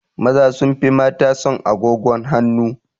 Maza sun fi mata son agogon hanu